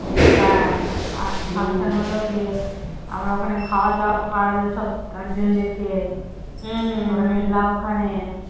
হ্যাঁ আর function হলো গিয়ে আমরা ওখানে খাওয়াদাওয়া করলো সব guardian দের কে আমরা খেলাম ওখানে